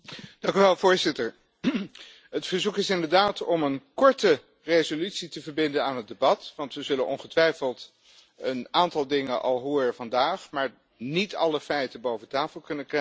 Voorzitter, het verzoek is inderdaad om een korte resolutie te verbinden aan het debat, want we zullen ongetwijfeld een aantal dingen vandaag al horen, maar niet alle feiten boven tafel kunnen krijgen.